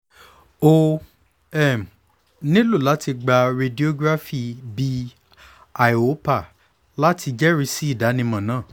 o um nilo lati gba radiograph bi iopar lati jẹrisi idanimọ naa